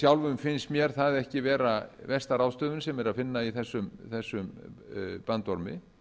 sjálfum finnst mér það ekki vera versta ráðstöfunin sem er að finna í þessum bandormi